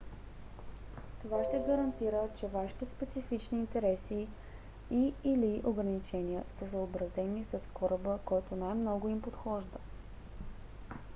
това ще гарантира че вашите специфични интереси и/или ограничения са съобразени с кораба който най-много им подхожда